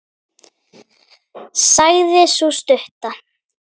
sagði sú stutta.